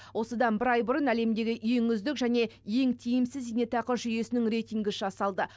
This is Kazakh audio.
осыдан бір ай бұрын әлемдегі ең үздік және ең тиімсіз зейнетақы жүйесінің рейтингі жасалды